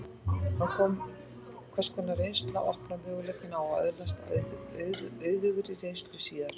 Hvers konar reynsla opnar möguleikana á að öðlast auðugri reynslu síðar?